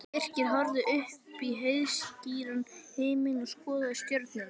Birkir horfði upp í heiðskíran himininn og skoðaði stjörnurnar.